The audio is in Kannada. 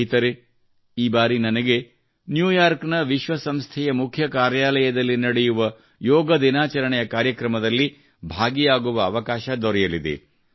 ಸ್ನೇಹಿತರೇ ಈ ಬಾರಿ ನನಗೆ ನ್ಯೂ ಯಾರ್ಕ್ ನ ವಿಶ್ವ ಸಂಸ್ಥೆಯ ಮುಖ್ಯ ಕಾರ್ಯಾಲಯದಲ್ಲಿ ನಡೆಯುವ ಯೋಗ ದಿನಾಚರಣೆಯ ಕಾರ್ಯಕ್ರಮದಲ್ಲಿ ಭಾಗಿಯಾಗುವ ಅವಕಾಶ ದೊರೆಯಲಿದೆ